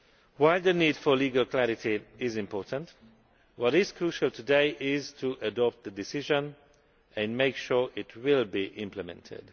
While the need for legal clarity is important, what is crucial today is to adopt the decision and make sure it will be implemented.